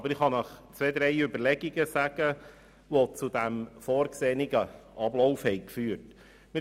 Ich kann Ihnen aber einige Überlegungen darlegen, die zu dem jetzt vorgesehenen Ablauf geführt haben.